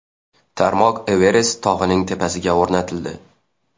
Tarmoq Everest tog‘ining tepasiga o‘rnatildi.